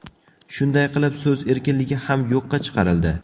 Shunday qilib, so‘z erkinligi ham yo‘qqa chiqarildi.